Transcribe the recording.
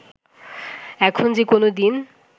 এখন যে কোনো দিন